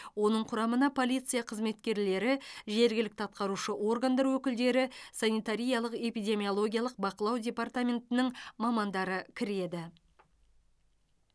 оның құрамына полиция қызметкерлері жергілікті атқарушы органдардың өкілдері санитариялық эпидемиологиялық бақылау департаментінің мамандары кіреді